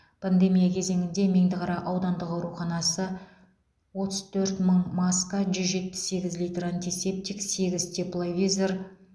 пандемия кезеңінде меңдіқара аудандық ауруханасы отыз төрт мың маска жүз жетпіс сегіз литр антисептик сегіз тепловизор